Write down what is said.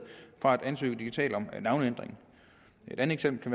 fra at skulle ansøge digitalt om navneændring et andet eksempel